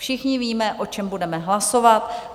Všichni víme, o čem budeme hlasovat.